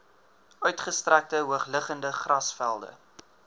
uitgestrekte hoogliggende grasvelde